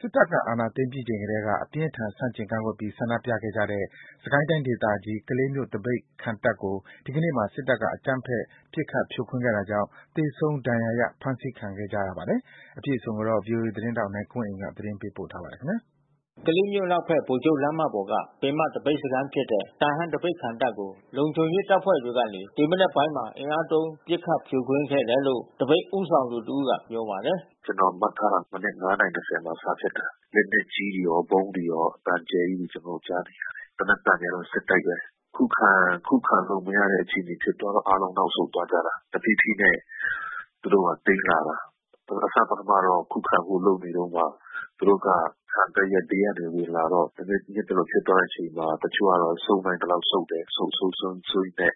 စစ်တပ်အာဏာသိမ်းပြီးချိန်ကတည်းက အပြင်းအထန် ဆန့်ကျင်ကန့်ကွက်ပြီး ဆန္ဒပြခဲ့ကြတဲ့ စစ်ကိုင်းတိုင်းဒေသကြီး၊ ကလေးမြို့ သပိတ်ခံတပ်ကို ဒီကနေ့မှာ စစ်တပ်က အကြမ်းဖက် ပစ်ခတ်ဖြိုခွဲတာကြောင့် သေဆုံးဒဏ်ရာရ ဖမ်းဆီးခံကြရပါတယ်။ အပြည့်အစုံကို ဗွီအိုအေသတင်းထောက် နိုင်ကွန်းအိန်က သတင်းပေးပို့ထားပါတယ်။ ကလေးမြို့အနောက်ဖက် ဗိုလ်ချုပ်လမ်းမပေါ်က ပင်မသပိတ်စခန်းဖြစ်တဲ့ တာဟန်းသပိတ်ခံတပ်ကို လုံခြုံရေးတပ်ဖွဲ့ တွေကနေ ဒီမနက်ပိုင်းမှာ အင်အားသုံး ပစ်ခတ်ဖြိုခွင်းခဲ့တယ်လို့ သပိတ်ဦးဆောင်တဦးကပြောပါတယ်။ “မနက်(၅)နာရီ(၂၀)မှာစဖြစ်တာ။ လက်နက်ကြီးတွေရော ဗုံးတွေရော အသံအကျယ်ကြီးကျွန်တော်တို့ကြားနေရတယ်။ သေနတ်သံတွေကတော့ဆက်တိုက်ဘဲ။ ခုခံလို့မရတဲ့အခြေအနေဖြစ်သွားတော့ အားလုံးနောက်ဆုတ်သွားကြတာ။ တဖြေး ဖြေးနဲ့သူတို့ကသိမ်းလာတာ။ သူတို့ကခံတပ်ရဲ့ဘေးကဝင်လာတော့ သပိတ်အဲဒီလိုဖြစ်သွားတဲ့အချိန်မှာ တချို့ က ဆုတ်နိုင် သလောက်ဆုတ်တယ်။ ဆုတ် ဆုတ် ဆုတ်ရင်းနဲ့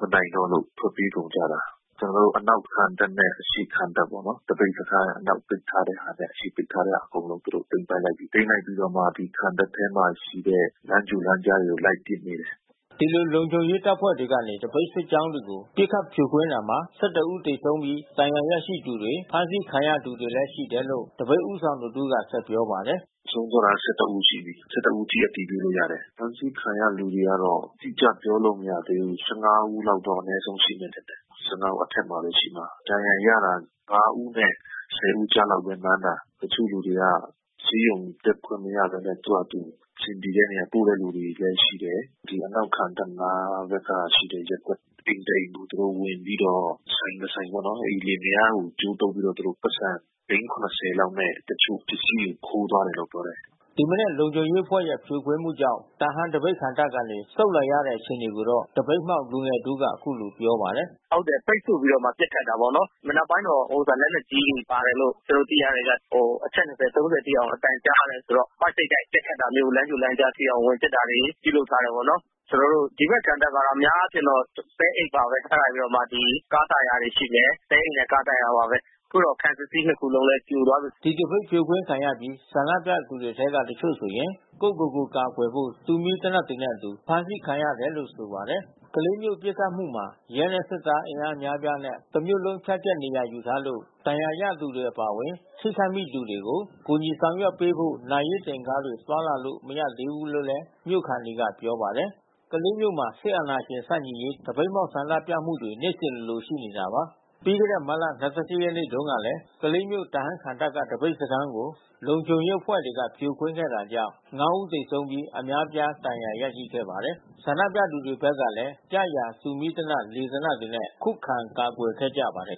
မနိုင်တော့လို့ ထွက်ပြေးကုန်ကြတာ။ ကျွန်တော်တို့ခံတပ် ပေါ့နော်။ သပိတ်စခန်းအနောက်ပိတ်ထားတဲ့ဟာနဲ့ အရှေ့ကပိတ်ထားတဲ့ဟာ အကုန်လုံးသူတို့သိမ်းပိုက်လိုက်ကြပြီး။ သိမ်းလိုက်ပြီးတော့မှ ခံတပ်ထဲမှာရှိတဲ့ လမ်းကြိုလမ်းကြားတွေလိုက်ပစ်နေတယ်။” ဒီလိုလုံခြုံရေးတပ်ဖွဲ့တွေကနေသပိတ်စစ်ကြောင်းတွေကို ပစ်ခတ်ဖြိုခွင်းတာမှာ ၁၁ ဦးသေဆုံးပြီး ဒဏ်ရာရသူတွေ၊ ဖမ်းဆီးခံရသူတွေလည်း ရှိတယ်လို့ သပိတ်ဦးဆောင်တဦးကဆက်ပြောပါတယ်။ “ဆုံးသွားတာ(၁၁)ဦးရှိပြီး။ (၁၁)ဦးအထိအတည်ပြုလို့ရတယ်။ ဖမ်းဆီးခံရတဲ့လူတွေကတော့ အတိကျပြောလို့ မရသေးဘူး။ (၁၅)ဦးလောက်တော့ အနဲဆုံးရှိမယ်ထင်တယ်။ (၁၅)ဦးအထက်မှာဘဲရှိမှာ။ ဒဏ်ရာရတာ (၅)ဦးနဲ့(၁၀)ဦး ကြားမှာဘဲမှန်းတာ။ တချို့လူတွေကဆေးရုံတက်ခွင့်မရဘဲနဲ့ သူတို့ဘာသာသူ အဆင်ပြေတဲ့နေရာကုတဲ့လူလဲရှိတယ်။ ဒီအနောက်ခံတပ်နား မှာရှိတဲ့ရပ်ကွက်ထဲက အိမ်တအိမ်သူတို့ဝင်ပြီးတော့ ဆိုင်တဆိုင်ပေါ့နော် အိမ်လင်မယား ကိုကြိုးတုတ်ပြီးတော့ သူတို့ပိုက်ဆံ သိန်း(၇၀)လောက်နဲ့ တချို့ပစ္စည်းကိုခိုးသွားတယ်လို့ပြောတယ်။” ဒီမနက်လုံခြုံရေးအဖွဲ့ရဲ့ဖြိုခွင်းမှုကြောင့် တာဟန်းသပိတ်ခံတပ်ကနေ ဆုတ်လာရတဲ့အခြေအနေကိုတော့ သပိတ် မှောက်လူငယ် တဦး ကအခုလိုပြောပါတယ်။ “ဟုတ်တယ်ပိတ်ဆို့ပြီးတော့မှ ပစ်ခတ်တာပေါ့နော်။ မနက်ပိုင်းတော့လက်နက်ကြီးတွေပါတယ်လို့ ကျွန်တော်တို့သိရ တယ်ဗျ။ အချက်(၂၀)(၃၀)ထိအောင်အသံကြားတယ်။ ပိုက်စိပ်တိုက်ပစ်ခတ်တာမျိုး လမ်းကြိုလမ်းကြားထဲဝင်ပစ်တာတွေ ပြုလုပ် ထားတယ်ပေါ့နော်။ ကျွန်တော်တို့ဒီဖက်ခံတပ်ကတော့အများအားဖြင့်တော့ သဲအိတ်ပါဘဲ။ အဲတာပြီးတော့မှ ကား တာယာတွေရှိမယ်။ သဲအိတ်နဲ့ကားတာယာပါဘဲ။ အခုတော့ခံစစ်စည်း(၂)ခုလုံးလဲပြိုသွားပြီး။” ဒီသပိတ်ဖြိုခွင်းခံရပြီး ဆန္ဒပြသူတွေအထဲက တချို့ဆိုရင် ကိုယ့်ကိုယ်ကိုကာကွယ်ဖို့ တူမီးသေနတ်တွေနဲ့အတူ အဖမ်း ဆီးခံခဲ့ရတယ်လို့ဆိုပါတယ်။ ကလေးမြို့ပစ်ခတ်မှုမှာ ရဲနဲ့စစ်သား အင်အားအများအပြားနဲ့ တစ်မြို့လုံး ဖြန့်ကျန့်နေရာယူထားလို့ ဒဏ်ရာရသူတွေ အပါဝင် ထိခိုက်မိသူတွေကို ကူညီဆောင်ရွက်ပေးဖို့ လူနာတင်ကားတွေသွားလာလို့ မရသေးဘူးလို့လဲမြို့ခံတွေက ပြောပါတယ်။ ကလေးမြို့မှာ စစ်အာဏာရှင်ဆန့်ကျင်ရေး သပိတ်မှောက်ဆန္ဒပြမှုတွေနေ့စဉ်လိုလိုရှိခဲ့တာပါ။ ပြီးခဲ့တဲ့မတ်လ ၂၈ ရက်နေ့တုန်း ကလဲ ကလေးမြို့ တာဟန်းခံတပ်က သပိတ်စခန်းကို လုံခြုံရေးအဖွဲ့တွေကဖြိုခွင်းခဲ့တာကြောင့် ၅ ဦးသေဆုံးပြီး အများအပြား ဒဏ်ရာရရှိခဲ့ပါတယ်။ ဆန္ဒပြသူတွေဘက်ကလည်း ရရာတူးမီးသေနတ် လေသေနတ်တွေနဲ့ ခုခံကာကွယ်ခဲ့ကြပါတယ်